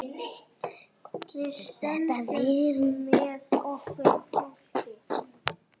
Hvað getur þetta verið?